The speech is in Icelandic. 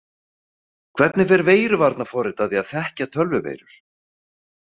Hvernig fer veiruvarnarforrit að því að þekkja tölvuveirur?